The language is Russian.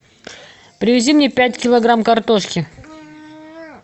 привези мне пять килограмм картошки